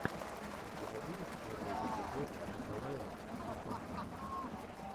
у тебя будет первый эпизод николая сосонкина